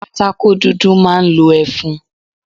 Pátákó dúdú máa ń lo ẹfun.